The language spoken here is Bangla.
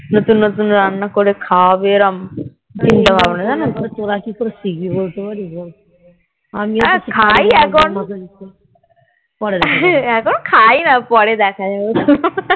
নতুন নতুন রান্না করে খাওয়াবে এরম চিন্তা ভাবনা জানাতো আর খাই এখন এখন খাইনা পরে দেখা যাবে